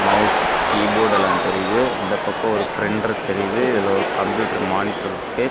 Mouse keyboard எல்லாந் தெரியுது இந்த பக்கம் ஒரு பிரிண்டர் தெரியுது இதுல ஒரு கம்ப்யூட்டர் மானிட்டர் இருக்கு.